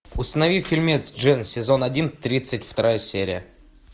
установи фильмец джен сезон один тридцать вторая серия